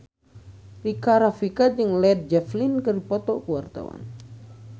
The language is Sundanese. Rika Rafika jeung Led Zeppelin keur dipoto ku wartawan